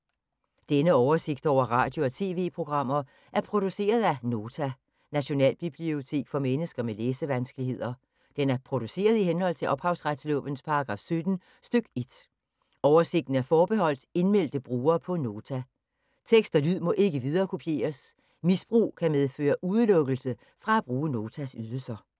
Denne oversigt over radio og TV-programmer er produceret af Nota, Nationalbibliotek for mennesker med læsevanskeligheder. Den er produceret i henhold til ophavsretslovens paragraf 17 stk. 1. Oversigten er forbeholdt indmeldte brugere på Nota. Tekst og lyd må ikke viderekopieres. Misbrug kan medføre udelukkelse fra at bruge Notas ydelser.